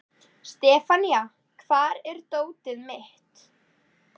Sefanía, hvar er dótið mitt?